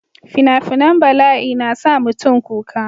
fina-finan balai na sa mutum kuka